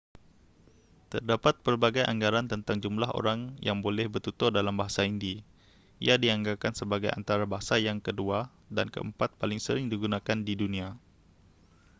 terdapat pelbagai anggaran tentang jumlah orang yang boleh bertutur dalam bahasa hindi ia dianggarkan sebagai antara bahasa yang kedua dan keempat paling sering digunakan di dunia